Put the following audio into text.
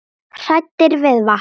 Hræddir við vatn!